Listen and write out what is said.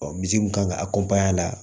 misi kun kan ka a la